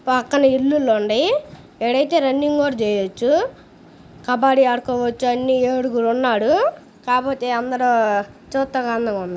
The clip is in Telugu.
పక్కన ఇల్లులు ఉన్నాయ్. ఇదైతే రన్నింగ్ కూడా చేయొచ్చు. కబ్బాడి ఆడుకోవచ్చు. అన్ని ఏడుగురు ఉన్నారు. కాకపోతే అందరు చుడానికి అంధంగా ఉంది.